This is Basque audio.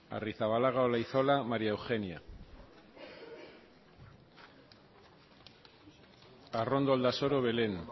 arrizabalaga olaizola maría eugenia arrondo aldasoro belén